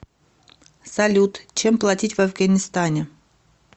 салют чем платить в афганистане